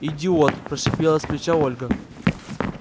идиот прошипела с плеча ольга